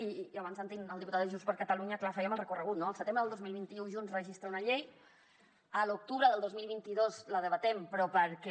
i abans sentint el diputat de junts per catalunya clar fèiem el recorregut no al setembre del dos mil vint u junts registra una llei a l’octubre del dos mil vint dos la debatem però perquè